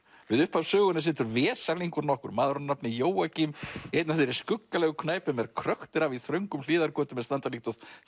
við upphaf sögunnar situr vesalingur nokkur maður að nafni Jóakim í einni af þeirri skuggalegu knæpum er krökkt er af í þröngum hliðargötum er standa líkt og